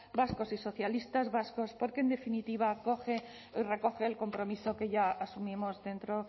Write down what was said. vascos y socialistas vascos porque en definitiva recoge el compromiso que ya asumimos dentro